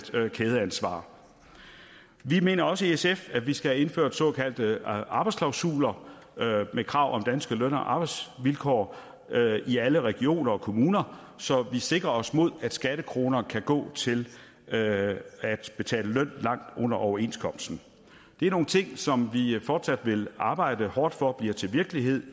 kædeansvar vi mener også i sf at vi skal have indført såkaldte arbejdsklausuler med krav om danske løn og arbejdsvilkår i alle regioner og kommuner så vi sikrer os mod at skattekroner kan gå til at at betale løn langt under overenskomsten det er nogle ting som vi i sf fortsat vil arbejde hårdt for bliver til virkelighed